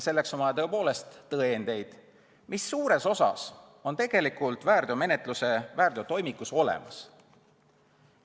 Ning on vaja tõepoolest tõendeid, mis suures osas on tegelikult väärteomenetluse toimikus olemas.